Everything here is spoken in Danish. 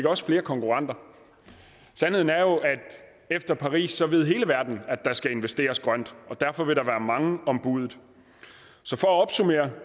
også flere konkurrenter sandheden er jo at efter paris ved hele verden at der skal investeres grønt og derfor vil der være mange om budet